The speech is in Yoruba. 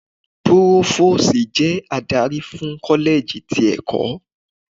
Púrófósìì jẹ́ adarí fún kọ́lẹ́jì tí ẹ̀kọ́.